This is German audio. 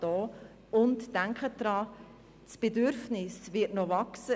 Denken Sie daran: Der Bedarf wird zunehmen.